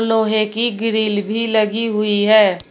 लोहे की ग्रिल भी लगी हुई है।